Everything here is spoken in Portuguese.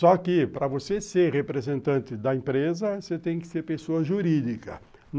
Só que, para você ser representante da empresa, você tem que ser pessoa jurídica.